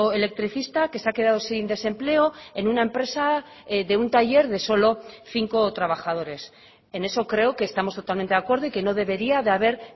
electricista que se ha quedado sin desempleo en una empresa de un taller de solo cinco trabajadores en eso creo que estamos totalmente de acuerdo y que no debería de haber